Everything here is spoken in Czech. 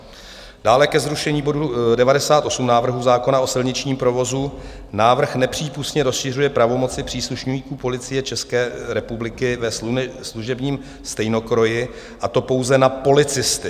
Dále ke zrušení bodu 98 návrhu zákona o silničním provozu: návrh nepřípustně rozšiřuje pravomoci příslušníků policie České republiky ve služebním stejnokroji, a to pouze na policisty.